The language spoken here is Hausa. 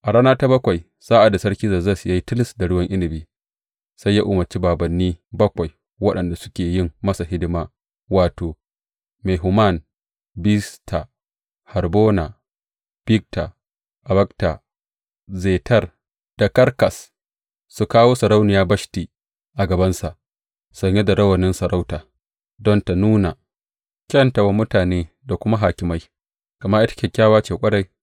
A rana ta bakwai, sa’ad da Sarki Zerzes, ya yi tilis da ruwan inabi, sai ya umarci bābānni bakwai waɗanda suke yin masa hidima, wato, Mehuman, Bizta, Harbona, Bigta, Abagta, Zetar da Karkas, su kawo Sarauniya Bashti a gabansa, sanye da rawanin sarautarta, don ta nuna kyanta wa mutane da kuma hakimai, gama ita kyakkyawa ce ƙwarai.